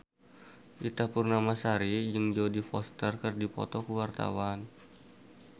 Ita Purnamasari jeung Jodie Foster keur dipoto ku wartawan